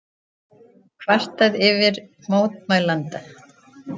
Kvartað yfir mótmælanda